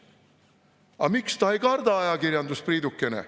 Aga miks ta ei karda ajakirjandust, Priidukene?